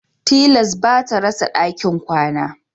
Tilas bata rasa ɗakin kwana